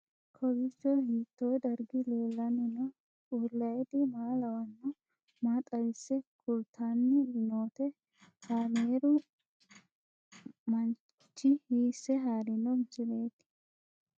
Kowiicho hiito dargi leellanni no ? ulayidi maa lawannoho ? maa xawisse kultanni noote ? kaameru manchi hiisse haarino misileeti?